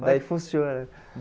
Daí funciona.